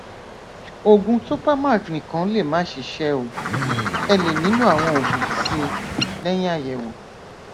òògùn topamac nìkan lè má ṣiṣẹ o le nílò àwọn òògùn síi lẹyìn àyẹwò